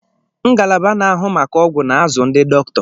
Ngalaba na-ahụ maka ọgwụ na-azụ ndị dọkịta.